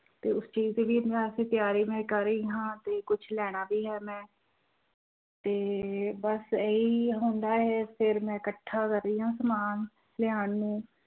ਤੇ ਉਸ ਚੀਜ਼ ਦੀ ਤਿਆਰੀ ਮੈਂ ਕਰ ਰਹੀ ਹਾਂ ਤੇ ਕੁਛ ਲੈਣਾ ਵੀ ਹੈ ਮੈਂ ਤੇ ਬਸ ਇਹੀ ਹੁੰਦਾ ਹੈ, ਫਿਰ ਮੈਂ ਇਕੱਠਾ ਕਰ ਰਹੀ ਹਾਂ ਸਮਾਨ ਲਿਆਉਣ ਨੂੰ